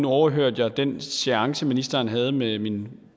overhørte jeg den seance ministeren havde med min